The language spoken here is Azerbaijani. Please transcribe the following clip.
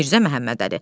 Mirzə Məhəmmədəli.